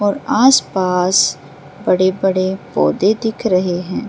और आसपास बड़े-बड़े पौधे दिख रहे हैं।